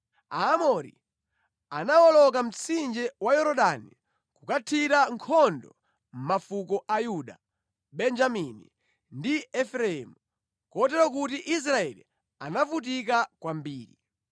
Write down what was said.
Aamori anawoloka mtsinje wa Yorodani kukathira nkhondo mafuko a Yuda, Benjamini ndi Efereimu kotero kuti Israeli anavutika kwambiri.